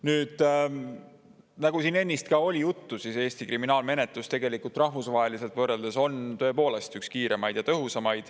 Nüüd, nagu siin ennist oli juttu, Eesti kriminaalmenetlus tegelikult rahvusvahelises võrdluses on tõepoolest üks kõige kiiremaid ja tõhusamaid.